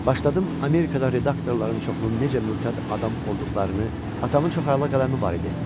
Başladım Amerikada redaktorların çoxunun necə mültəd adam olduqlarını, atamın çox əla qələmi var idi.